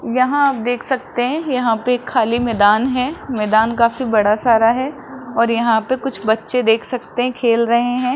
यहां आप देख सकते हैं यहां पे एक खाली मैदान है मैदान काफी बड़ा सारा है और यहां पे कुछ बच्चे देख सकते हैं खेल रहे हैं।